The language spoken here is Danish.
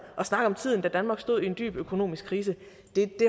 og snakke om tiden da danmark stod i en dyb økonomisk krise det